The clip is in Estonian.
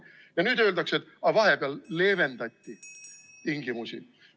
Ja nüüd öeldakse, et aga vahepeal leevendati tingimusi.